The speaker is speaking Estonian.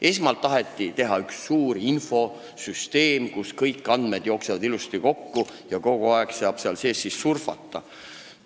Esmalt taheti teha üks suur infosüsteem, kuhu kõik andmed ilusti kokku jooksevad ja kus saab kogu aeg surfata.